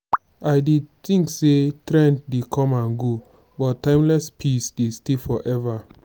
i dey think say trend dey come and go but timeless pieces dey stay forever.